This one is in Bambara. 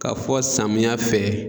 Ka fɔ samiya fɛ